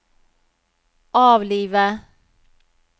avlive